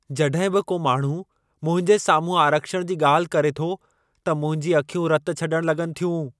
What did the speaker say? जड॒हिं बि को माण्हू मुंहिंजे साम्हूं आरक्षण जी ॻाल्हि करे थो, त मुंहिंजी अखियूं रत छॾण लॻनि थियूं।